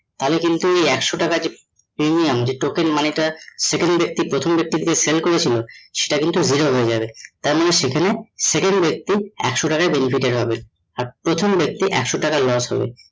তাহলে কিন্তু একশো টাকার যে premium যে token money টা second ব্যক্তি প্রথম ব্যক্তিকে sell করেছিল সেটা কিন্তু হয়ে যাবে তার মানে সেখানে second ব্যক্তি একশ টাকায় benefited হবে আর প্রথম ব্যাক্তির একশো টাকা loss হবে